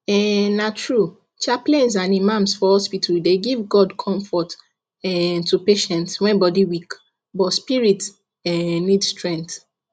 um na true chaplains and imams for hospital dey give god comfort um to patients when body weak but spirit um need strength